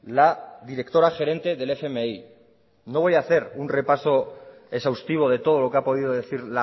la directora gerente del fmi no voy hacer un repaso exhaustivo de todo lo que ha podido decir